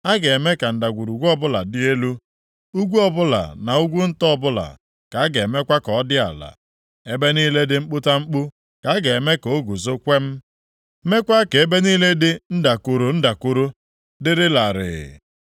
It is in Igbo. A ga-eme ka ndagwurugwu ọbụla dị elu, ugwu ọbụla na ugwu nta ọbụla ka a ga-emekwa ka ọ dị ala, ebe niile dị mkputamkpu ka a ga-eme ka o guzo kwem, meekwa ka ebe niile dị ndakoro ndakoro dịrị larịị.